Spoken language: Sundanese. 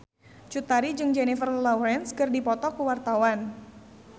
Cut Tari jeung Jennifer Lawrence keur dipoto ku wartawan